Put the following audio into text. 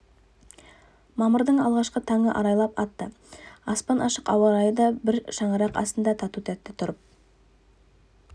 мамырдың алғашқы таңы арайлап атты аспан ашық ауа райы да бір шаңырақ астында тату-тәтті тұрып